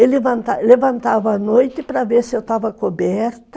Ele levantava à noite para ver se eu estava coberta.